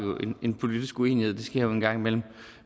en politisk uenighed det sker jo en gang imellem